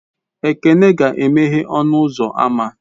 Ekene ga-emeghe ọnụ ụzọ ámá